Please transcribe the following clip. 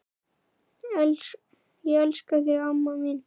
Ég elska þig, amma mín.